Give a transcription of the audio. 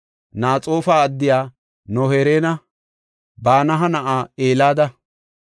Naxoofa addiya No7eeranne Banaha na7aa Heleda,